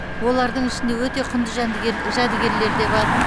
олардың ішінде өте құнды жәдігерлер де бар